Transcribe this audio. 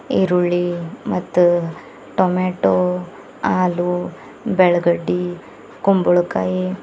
ಈರುಳ್ಳಿ ಮತ್ತ ಟೊಮೆಟೊ ಆಲೂ ಬೆಳಗಡ್ಡಿ ಕುಂಬಳಕಾಯಿ --